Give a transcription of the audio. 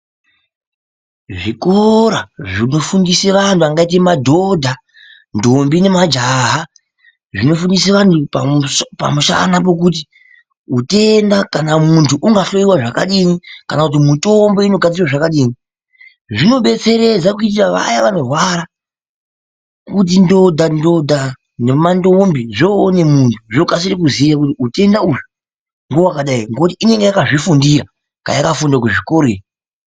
Zvikora zvinofundise vantu vangaite madhodha ndombi nemajaha zvinofundise antu pamusana pokuti utenda kana muntu ungahloyiwa zvakadini kana kuti mitombo inogadzirwa zvakadini zvinodetseredza kuitira vaya vanorwara kuti ndodhandodha, nemandombi zvoone muntu zvokasire kuziye kuti utenda uhwu ngehwakadai ngekuti inonga yakazvifundira kaya kafunda kuzvikora iyo.